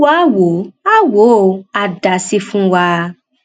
olúwa áà wò áà wò ó àá dá a sí fún wa